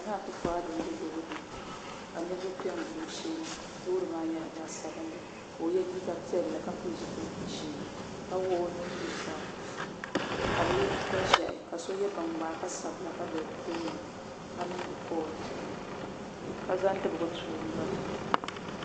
Nana akufu ado m be loori puuni 9ka niriba piɛ n gili o loori maa nyɛla zaɣa sabinli ka o ye liiga piɛlli ka ka pili zipil'ʒee ka wuɣi o nuu zuɣusaa ka bɛ ye liiga ʒee ka so ye binŋmaa ka za bɛ tooni k. niŋdi koll ka zaŋ dibga tu o noli.